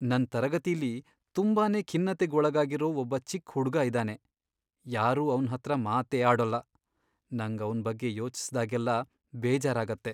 ನನ್ ತರಗತಿಲಿ ತುಂಬಾನೇ ಖಿನ್ನತೆಗ್ ಒಳಗಾಗಿರೋ ಒಬ್ಬ ಚಿಕ್ಕ್ ಹುಡ್ಗ ಇದಾನೆ, ಯಾರೂ ಅವ್ನ್ ಹತ್ರ ಮಾತೇ ಆಡೋಲ್ಲ. ನಂಗ್ ಅವ್ನ್ ಬಗ್ಗೆ ಯೋಚಿಸ್ದಾಗೆಲ್ಲ ಬೇಜಾರಾಗತ್ತೆ.